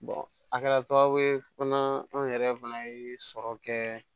a kɛra sababuye fana an yɛrɛ fana ye sɔrɔ kɛ